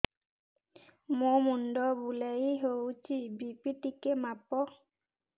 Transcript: ମୋ ମୁଣ୍ଡ ବୁଲେଇ ହଉଚି ବି.ପି ଟିକେ ମାପ